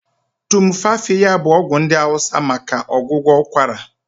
Tumfafiya bụ ọgwụ ndị hausa maka ọgwụgwọ ụkwara.